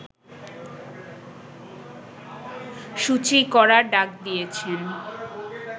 শুচি করার ডাক দিয়েছেন